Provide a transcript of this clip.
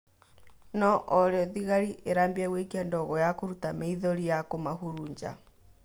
No orĩo, thigari irambia gũikia ndogo ya kũrũta maĩthori na kumahurunja